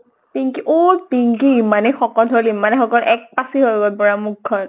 পিঙ্কি অʼ পিঙ্কি ইমানে শকত হʼল ইমানে শকত এক পাচি হৈ গʼল পুৰা মুখ খন।